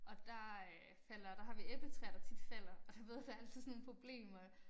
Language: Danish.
Og der øh falder der har vi æbletræer der tit falder og du ved der altid sådan nogle problemer